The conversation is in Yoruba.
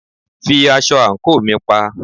Fi aṣọ àńkò mi pa!